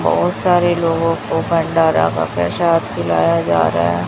बहोत सारे लोगों को भंडारा का प्रसाद खिलाया जा रहा है।